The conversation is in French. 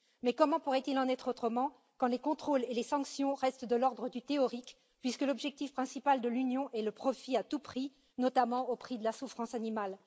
Mais comment pourrait il en être autrement quand les contrôles et les sanctions restent de l'ordre du théorique, puisque l'objectif principal de l'Union est le profit à tout prix, notamment au prix de la souffrance animale?